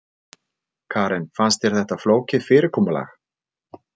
Karen: Fannst þér þetta flókið fyrirkomulag?